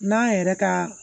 N'an yɛrɛ ka